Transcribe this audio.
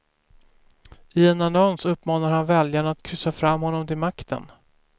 I en annons uppmanar han väljarna att kryssa fram honom till makten.